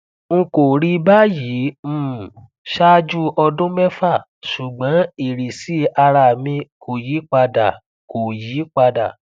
n kò rí báyìí um ṣáájú ọdún mẹfà ṣùgbọn ìrísí ara mi kò yí padà kò yí padà